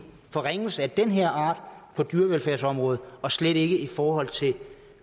forringelse af den her art på dyrevelfærdsområdet og slet ikke i forhold til